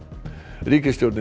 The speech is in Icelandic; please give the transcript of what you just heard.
ríkisstjórnin